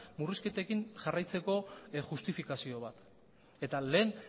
murrizketekin jarraitzeko justifikazio bat eta lehen